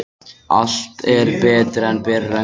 Allt er betra en berir önglar.